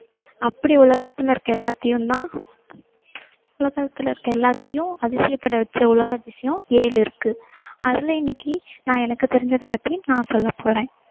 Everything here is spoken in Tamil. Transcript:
அப்படி உலகத்துல இருக்க எல்லாத்தையும்தான் உலகத்துல இருக்கற எல்லாத்தையும் அதிசயப்பட வச்ச உலக அதிசயம் ஏழு இருக்கு அதுல இன்னைக்கு நான் எனக்கு தெரிஞ்சதப் பத்தி நான் சொல்லப் போறேன்